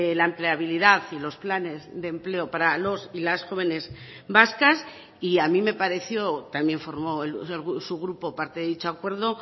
la empleabilidad y los planes de empleo para los y las jóvenes vascas y a mí me pareció también formó su grupo parte de dicho acuerdo